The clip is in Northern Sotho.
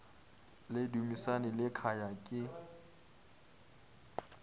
le dumisani le khaya ke